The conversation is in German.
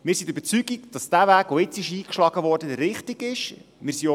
Wir sind der Überzeugung, dass der Weg, der nun eingeschlagen wurde, der richtige ist.